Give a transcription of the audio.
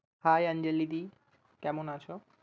Hi Anjali দি। কেমন আছো?